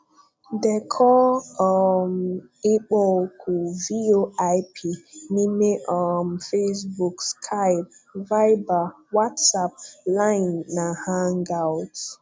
Dekọọ um ịkpọoku VOIP n'ime um Facebook, Skype, Viber, WhatsApp, Line na Hangouts.